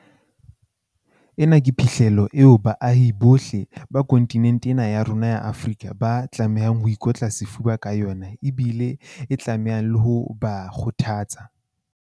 Ena ke phihlello eo baahi bohle ba kontinente ya rona ya Afrika ba tlamehang ho ikotla sefuba ka yona ebile e tlamehang le ho ba kgothatsa.